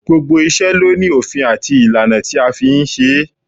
Gbogbo iṣẹ́ ló ní òfin àti ìlànà tí a fi ń ṣe é